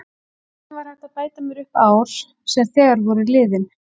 Hvernig var hægt að bæta mér upp ár sem þegar voru liðin?